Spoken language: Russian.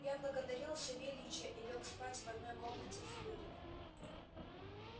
я благодарил савельича и лёг спать в одной комнате с зуриным